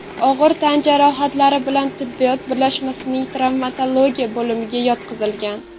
og‘ir tan jarohatlari bilan tibbiyot birlashmasining travmatologiya bo‘limiga yotqizilgan.